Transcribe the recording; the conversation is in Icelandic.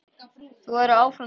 Þú verður áfram til.